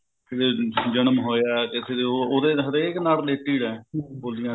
ਕਿਸੇ ਦੇ ਜਨਮ ਹੋਇਆ ਕਿਸੇ ਦੇ ਉਹ ਉਹਦੇ ਨਾ ਹਰੇਕ ਨਾਲ related ਏਂ ਬੋਲੀਆਂ